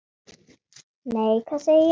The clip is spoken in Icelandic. Nei, hvað sé ég?